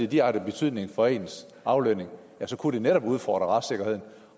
direkte betydning for ens aflønning ja så kunne det netop udfordre retssikkerheden